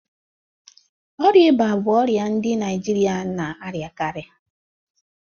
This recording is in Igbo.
Ọrịa ịba bụ ọrịa ndị Naijirịa na-arịakarị.